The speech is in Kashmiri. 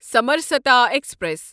سمرسَتا ایکسپریس